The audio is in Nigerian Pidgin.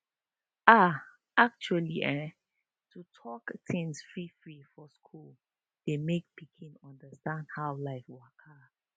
ahhh actually ehhn to talk things freefree for school dey make pikin understand how life waka